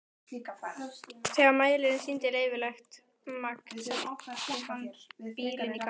Þegar mælirinn sýndi leyfilegt magn setti hann bílinn í gang.